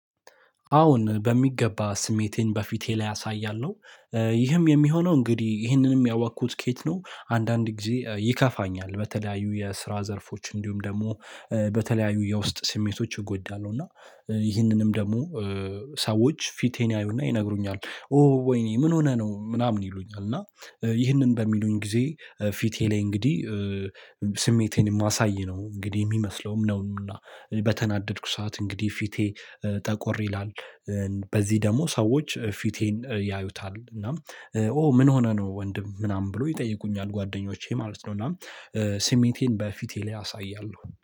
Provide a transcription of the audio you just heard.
አዎ በሚገባ ስሜቴን በፊቴ ላይ አሳያለሁ ይህም የሚሆነው እንግዲህ ይህንንም ያወኩት ከየት ነው አንዳንድ ጊዜ ይከፋኛል በተለያዩ የስራ ዘርፎች እንዲሁም ደግሞ በተለያዩ የውስጥ ስሜቶች ይጎዳሉ እና ይህንንም ደግሞ ሰዎች ፊቴን ያዩና ይነግሩኛል ኦ ወይኔ ምን ሆነ ነው ምናምን ይሉኛል እና ይህንን በሚሉኝ ጊዜ ፊቴ ላይ እንግዲህ ስሜቴን የማሳይ ነው እንግዲህ የሚመስለውም ነውና በተናደድኩ ሰዓት እንግዲህ ፊቴ ጠቆር ይላል። በዚህ ደግሞ ሰዎች ፊቴን ያዩታል እና ኦ ምን ሆነ ነው ወንድም ምናምን ብሎ ይጠይቁኛል ጓደኞቼ ማለት ነው እና ስሜቴን በፊቴ ላይ አሳያለሁ።